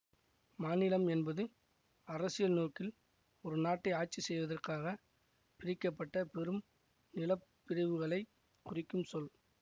மாநிலம் என்பது அரசியல் நோக்கில் ஒரு நாட்டை ஆட்சி செய்வதற்காக பிரிக்க பட்ட பெரும் நிலப்பிரிவுகளைக் குறிக்கும் சொல்